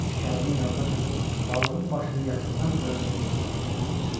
Şikarının yanına çatıb balığın başını yaxından görəndə gözləri kəlləsinə çıxdı.